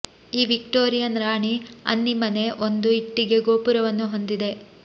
ಈ ವಿಕ್ಟೋರಿಯನ್ ರಾಣಿ ಅನ್ನಿ ಮನೆ ಒಂದು ಇಟ್ಟಿಗೆ ಗೋಪುರವನ್ನು ಹೊಂದಿದೆ